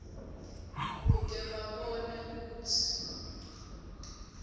kute babone kutsi